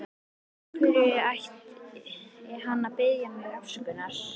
Af hverju ætti hann að biðja mig afsökunar?